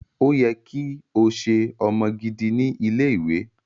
O yẹ ki o ṣe ọmọ gidi ni ile-iwe.